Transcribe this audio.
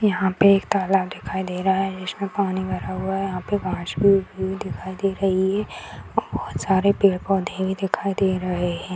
यहाँ पे एक तालाब दिखाई दे रहा है जिसमें पानी भरा हुआ है यहाँ पे वाशरूम भी दिखाई दे रही है बहुत सारे पेड़-पौधे भी दिखाई दे रहे है ।